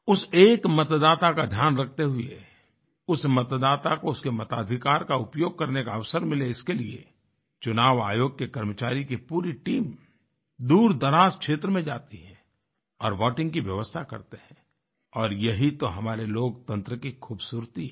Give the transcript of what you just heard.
उस एक मतदाता का ध्यान रखते हुए उस मतदाता को उसके मताधिकार का उपयोग करने का अवसर मिले इसके लिए चुनाव आयोग के कर्मचारियों की पूरी टीम दूरदराज़ क्षेत्र में जाती है और वोटिंग की व्यवस्था करते हैं और यही तो हमारे लोकतंत्र की ख़ूबसूरती है